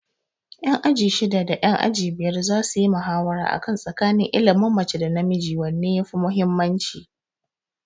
Ƴan aji shidda da ƴan aji biyar za suyi muhawara a kan tsakanin ilimin mace da namiji wanne yafi muhimmanci.